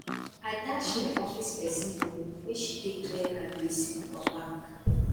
i dash my office pesin moni make she take clear her gbese for bank